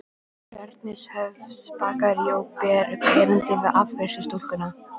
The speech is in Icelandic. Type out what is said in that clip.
Bernhöftsbakaríi og ber upp erindið við afgreiðslustúlkuna.